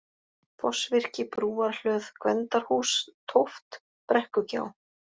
Fossvirki, Brúarhlöð, Gvendarhús (Tóft), Brekkugjá